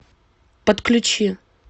подключи